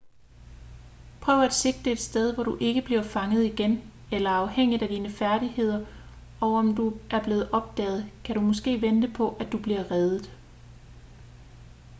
prøv at sigte et sted hvor du ikke bliver fanget igen eller afhængigt af dine færdigheder og om du er blevet opdaget kan du måske vente på at du bliver reddet